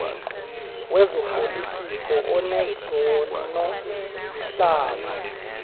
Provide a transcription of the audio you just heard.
wezopolitiko onezona zihlalo